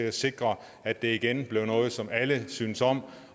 at sikre at det igen bliver noget som alle synes om